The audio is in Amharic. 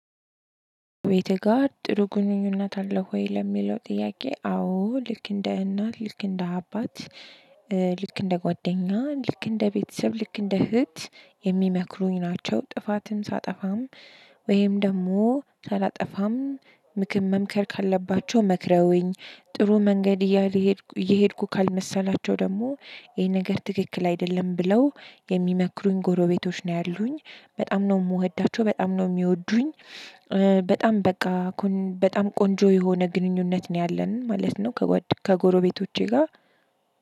ቤትህ ጋር ጥሩ ግንኙነት አለህ ወይ? ለሚለው ጥያቄ አዎ ልክ እንደ እናት ልክ እንደ አባት ልክ እንደ ጓደኛ ልክ እንደ ቤተሰብ ልክ እንደ እህት የሚመክሩኝ ናቸው። ጥፋትን ሳጠፋም ወይም ደግሞ ሳላጠፋም ምክር መምከር ካለባቸው መክረውኝ። ጥሩ መንገድ እየሄድኩ እየሄድኩ ካልመሰላቸው ደግሞ ይሄ ነገር ትክክል አይደለም ብለው የሚመክሩኝ ጎረቤቶች ነው ያሉኝ። በጣም ነው የምወዳቸው በጣም ነው የሚወዱኝ። በጣም በቃ በጣም ቆንጆ የሆነ ግንኙነት ነው ያለን ማለት ነው። ከጎረቤቶቼ ጋር